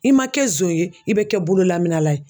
I ma kɛ zon ye i be kɛ bololaminala ye.